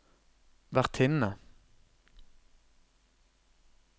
vertinne